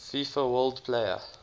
fifa world player